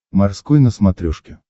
морской на смотрешке